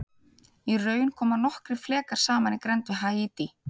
Í raun koma nokkrir flekar saman í grennd við Haítí.